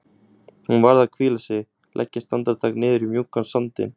Hún varð að hvíla sig, leggjast andartak niður í mjúkan sandinn.